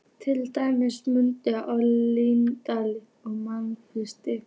Til dæmis munurinn á mannlífi og mannslífi.